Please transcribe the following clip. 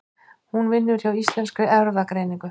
Hún vinnur hjá Íslenskri erfðagreiningu.